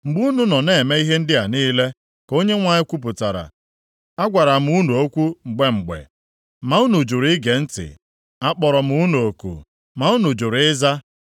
Mgbe unu nọ na-eme ihe ndị a niile, ka Onyenwe anyị kwupụtara, agwara m unu okwu mgbe mgbe, ma unu jụrụ ige ntị. Akpọrọ m unu oku, ma unu jụrụ ịza.